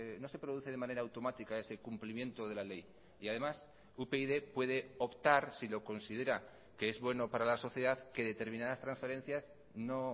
no se produce de manera automática ese cumplimiento de la ley y además upyd puede optar si lo considera que es bueno para la sociedad que determinadas transferencias no